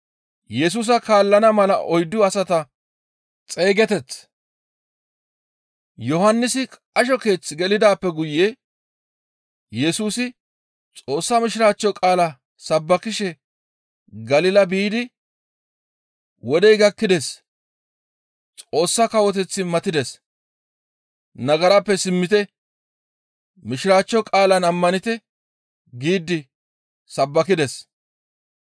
Yohannisi qasho keeth gelidaappe guye Yesusi Xoossa Mishiraachcho qaalaa sabbakishe Galila biidi, «Wodey gakkides; Xoossa Kawoteththi matides; nagarappe simmite; Mishiraachcho qaalan ammanite» giidi sabbakides.